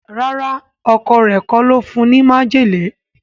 ràrá Ọkọ rẹ kò ló fún ní májèlé.